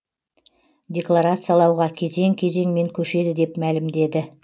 декларациялауға кезең кезеңмен көшеді деп мәлімдеді